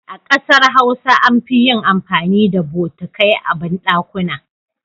A kasar Hausa an fi yin amfani da botikai a bandakuna.